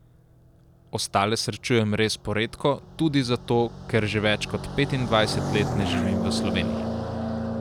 Ostale srečujem res poredko, tudi zato, ker že več kot petindvajset let ne živim v Sloveniji.